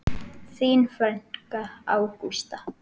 Þín frænka, Ágústa.